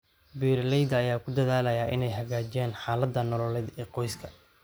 Beeralayda ayaa ku dadaalaya inay hagaajiyaan xaaladda nololeed ee qoyska.